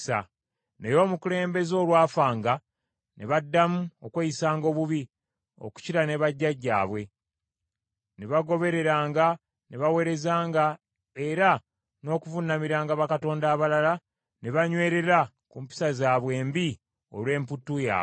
Naye omukulembeze olwafanga ne baddamu okweyisanga obubi okukira ne bajjajjaabwe, ne bagobereranga ne baweerezanga era n’okuvuunamiranga bakatonda abalala ne banywerera ku mpisa zaabwe embi olw’emputtu yaabwe.